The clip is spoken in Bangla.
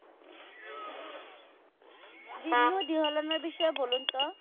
বিন্নু ধিল্লন বিষয়ে বলুন তো?